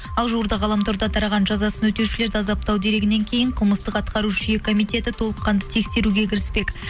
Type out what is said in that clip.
ал жуырда ғаламторда тараған жазасын өтеушілерді азаптау дерегінен кейін қылмыстық атқару жүйе комитеті толыққанды тексеруге кіріспек